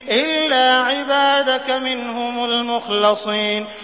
إِلَّا عِبَادَكَ مِنْهُمُ الْمُخْلَصِينَ